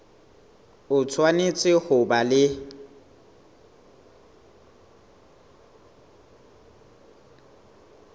o tshwanetse ho ba le